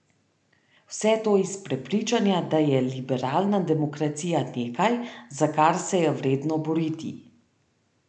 Vse to iz prepričanja, da je liberalna demokracija nekaj, za kar se je vredno boriti.